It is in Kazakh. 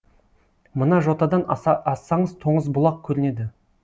мына жотадан ассаңыз тоғызбұлақ көрінеді